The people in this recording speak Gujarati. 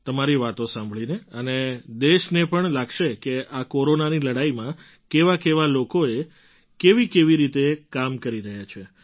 તમારી વાતો સાંભળીને અને દેશને પણ લાગશે કે આ કોરોનાની લડાઈમાં કેવાકેવા લોકો કેવીકેવી રીતે કામ કરી રહ્યા છે